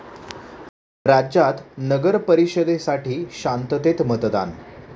राज्यात नगरपरिषदेसाठी शांततेत मतदान